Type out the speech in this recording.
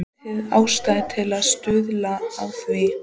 Lítil ástæða til að stuðla að því.